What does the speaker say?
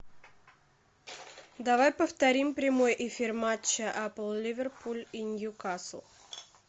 давай повторим прямой эфир матча апл ливерпуль и ньюкасл